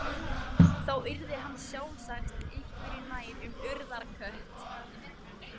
Þá yrði hann sjálfsagt einhverju nær um Urðarkött.